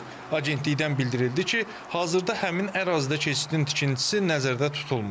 Agentlikdən bildirildi ki, hazırda həmin ərazidə keçidin tikintisi nəzərdə tutulmur.